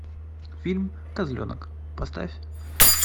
фильм козленок поставь